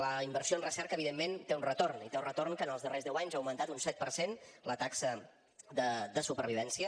la inversió en recerca evidentment té un retorn i té un retorn que en els darrers deu anys ha augmentat un set per cent la taxa de supervivència